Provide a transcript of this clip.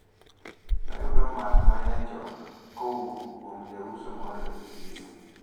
Nayudo math ma nyachon kowuok kuom jauso moro e chiro.